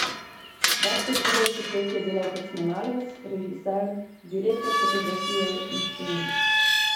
Več kot trideset let je delal kot snemalec, režiser, direktor fotografije in scenarist.